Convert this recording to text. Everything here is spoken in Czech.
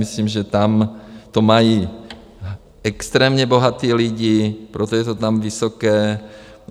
Myslím, že tam to mají extrémně bohatí lidé, proto je to tam vysoké.